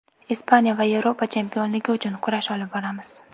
Ispaniya va Yevropa chempionligi uchun kurash olib boramiz.